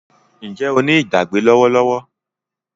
Njé o ní Ìgbàgbé lówó lówó?